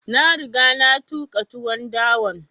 Na riga na tuƙa tuwon dawan